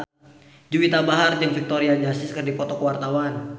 Juwita Bahar jeung Victoria Justice keur dipoto ku wartawan